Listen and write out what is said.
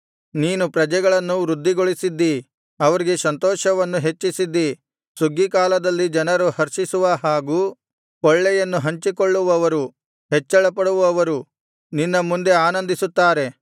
ನೀನು ಪ್ರಜೆಗಳನ್ನು ವೃದ್ಧಿಗೊಳಿಸಿದ್ದೀ ಅವರಿಗೆ ಸಂತೋಷವನ್ನು ಹೆಚ್ಚಿಸಿದ್ದೀ ಸುಗ್ಗಿ ಕಾಲದಲ್ಲಿ ಜನರು ಹರ್ಷಿಸುವ ಹಾಗೂ ಕೊಳ್ಳೆಯನ್ನು ಹಂಚಿಕೊಳ್ಳುವವರು ಹೆಚ್ಚಳಪಡುವವರು ನಿನ್ನ ಮುಂದೆ ಆನಂದಿಸುತ್ತಾರೆ